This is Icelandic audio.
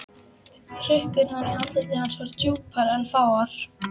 Hrukkurnar í andliti hans voru djúpar en fáar.